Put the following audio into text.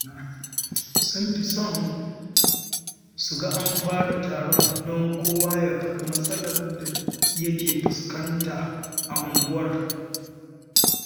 Sun fi son su ga an fara taron don kowa ya faɗi matsalar da yake fuskanta a unguwar